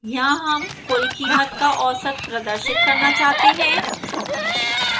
यहां हम कुल कीमत का औसत प्रदर्शित करना चाहते हैं